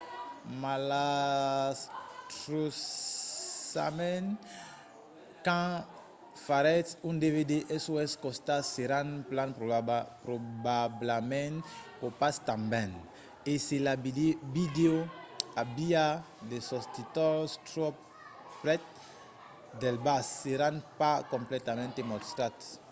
malastrosament quand faretz un dvd sos costats seràn plan probablament copats tanben e se la vidèo aviá de sostítols tròp prèp del bas seràn pas completament mostrats